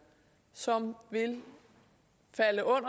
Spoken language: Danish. så er